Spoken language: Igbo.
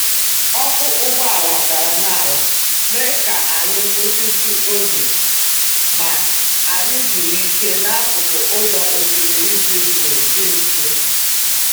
ọkụ́ ụgbọala dara n'ala mee ka anyị kwụsịtụ oge, ma anyị zuru ike n'akụkụ ụzọ osimiri dị jụụ dị nso.